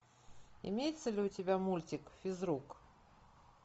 имеется ли у тебя мультик физрук